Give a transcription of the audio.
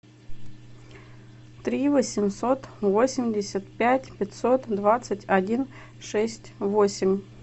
три восемьсот восемьдесят пять пятьсот двадцать один шесть восемь